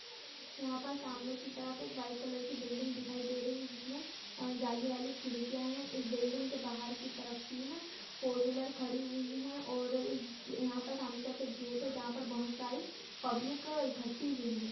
यहाँ पर सामने की तरफ एक वाइट कलर की बिल्डिंग दिखाई दे रही है जिसमें जाली वाली खिड़किया है इस बिल्डिंग के बाहर की तरफ तीन फोरविलर खड़ी है और इस यहाँ पर सामने की तरफ एक गेट है जहां पर बहुत सारी पब्लिक इकट्ठी हुई है।